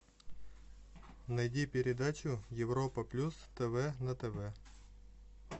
найди передачу европа плюс тв на тв